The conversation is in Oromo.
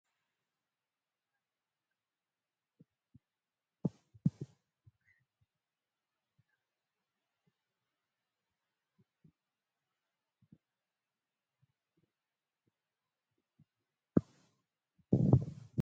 Uummanni aadaa wal gargaarsaan beekamu tokko saba Oromooti. Hawaasni kun yeroo gaddaa fi yeroo cidhaatti biddeen tolchee yookiin mulluu affeelee buna waliin mana waliisaanii geessuudhaan beekamu. Kun kan inni ibsu tokkummaa isaaniiti!